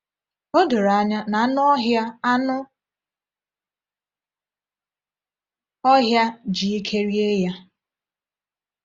“O doro anya na anụ ọhịa anụ ọhịa ji ike rie ya!”